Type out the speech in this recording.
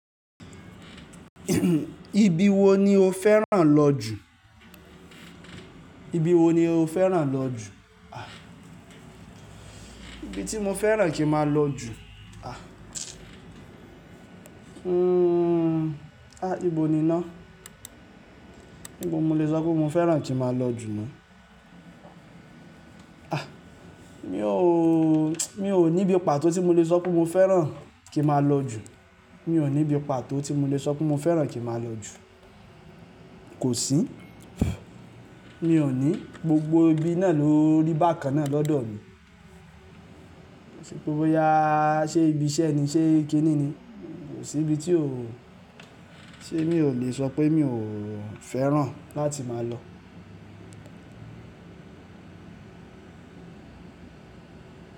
Ibi wo ni o fẹ́ràn lọ jù? Ibi wo ni o fẹ́ràn lọ jù? Ibi tí mo fẹ́ràn kí n máa lọ jù? A, ibo ni ná? Ibo n mo lè sọ pé mo fẹ́ràn kí máa lọ jù ná. A, mi ò, mi ò ní ibi pàtó tí mo lè sọ pé mo fẹ́ràn kí máa lọ jù. Mi ò ní ibi pàtó tí mo lè sọ pé mo fẹ́ràn kí n máa lọ jù. Kò sí. Mi ò ní, gbogbo ibi náà ló rí bákan náà lọ́dọ̀ mi. Nipé boya, ṣe ibi iṣẹ́ ni, ṣe kíni ni? Kò sí ibi tí ò, tí èmi ò lè sọ pé mi ò fẹ́ràn láti máa lọ.